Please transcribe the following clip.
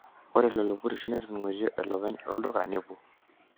Ore lelo purisho netoningote wolopeny olduka na nepuo.